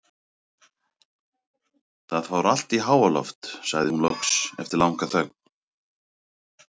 Það fór allt í háaloft, sagði hún loks eftir langa þögn.